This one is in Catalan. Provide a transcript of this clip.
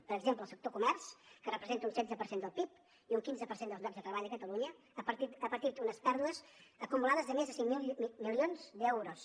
per exemple el sector del comerç que representa un setze per cent del pib i un quinze per cent dels llocs de treball de catalunya ha patit unes pèrdues acumulades de més de cinc mil milions d’euros